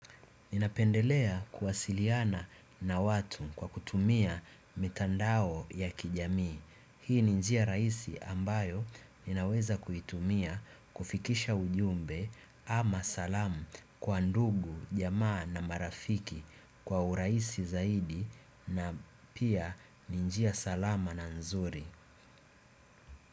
Ninapendelea kuwasiliana na watu kwa kutumia mitandao ya kijamii. Hii ni njia rahisi ambayo ninaweza kuitumia kufikisha ujumbe ama salamu kwa ndugu, jamaa na marafiki kwa urahisi zaidi na pia ni njia salama na nzuri.